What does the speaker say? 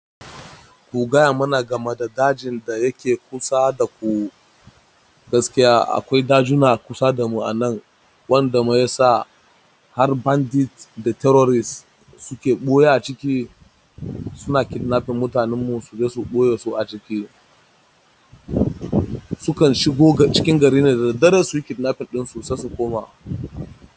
Kugaya mana game da dajin da yake kusa da ku gaskiya akwai dajuna kusa da mu a nan wanda mai yasa har bandits da terrorists suke ɓuya a ciki suna kidnapping mutanen mu su je su ɓoye su a ciki sukan shigo cikin gari ne da daddare su yi kidnapping ɗin su sai su koma.